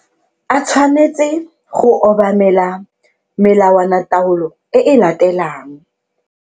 A tshwanetse go obamela melawanataolo e e latelang.